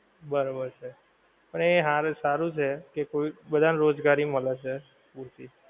બરાબર છે. પણ એ હારે સારું છે કે કોઈક બધાને રોજગારી મલે છે.